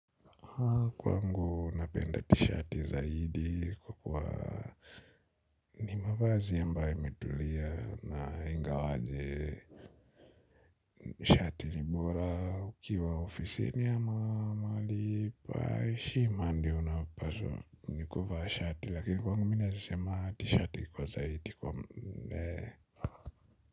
Kwangu napenda tishati zaidi kwa kuwa ni mavazi ambaye imetulia na ingawaje shati ni bora ukiwa ofisini ama mahali pa heshima ndio napaswa nikuvaa shati lakini kwangu mi naezasema tishati kwa zaidi kwa.